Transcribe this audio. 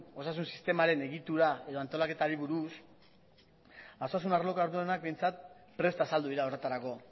osasun sistemaren egitura edo antolaketari buruz osasun arloko arduradunak behintzat presta azaldu dira horretarako